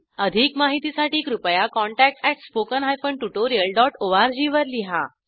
अधिक माहितीसाठी कृपया contact at spoken hyphen tutorial dot ORG वर लिहा